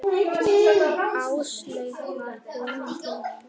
Áslaug var komin til mín.